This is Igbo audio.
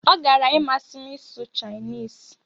Ọ gara-imasị m ịsụ Chinese.